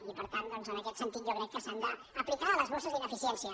i per tant en aquest sentit jo crec que s’han d’aplicar a les bosses d’ine·ficiència